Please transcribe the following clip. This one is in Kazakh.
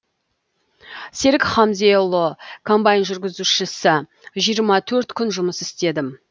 серік хамзеұлы комбайн жүргізушісі жиырма төрт күн жұмыс істедім